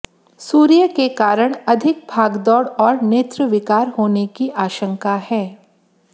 सूर्य के कारण अधिक भागदौड़ और नेत्र विकार होने की आशंका है